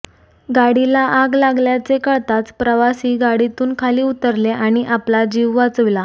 गाडीला आग लागल्याचे कळताच प्रवासी गाडीतून खाली उतरले आणि आपला जीव वाचविला